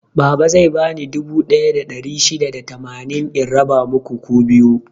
Baba zai bani dubu ɗaya da ɗari shida da tamanin in raba muku ku biyu.